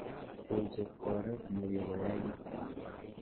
Koichop oret nikikoyait?